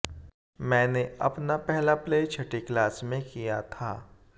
मैनें अपना पहला प्ले छठी क्लास में किया था